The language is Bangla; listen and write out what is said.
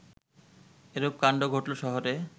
এরূপ কাণ্ড ঘটল শহরে